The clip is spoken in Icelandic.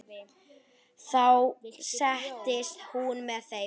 Þá settist hún með þeim.